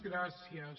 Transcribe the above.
gràcies